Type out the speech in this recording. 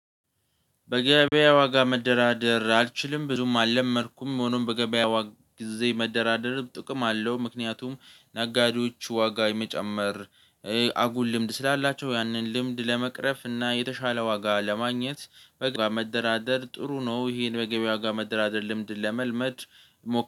በገበያ ዋጋ መደራደር አልችልም ብዙም አለመድኩም ሆኖም በገበያ ዋጋ ሁል ጊዜ መደራደርም ጥቅም አለው ምክንያቱም ነጋዴዎች ዋጋ የመጨመር አጉል ልምድ ስላላቸው ያንን ልምድ ለመቅረፍ እና የተሻለ ዋጋ ለማግኘት በገበያ መደራደር ጥሩ ነው። ይሄን በገበያ ዋጋ መደራደር ልምድ ለመልመድ።